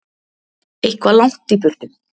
Eitthvað langt í burtu.